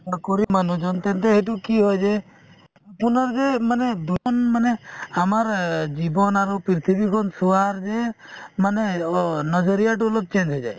নকৰি মানুহজন তেন্তে সেইটো কি হয় যে আপোনাৰ যে মানে দুখন মানে আমাৰ অ জীৱন আৰু পৃথিৱীখন চোৱাৰ যে মানে অ najrya তো অলপ change হৈ যায়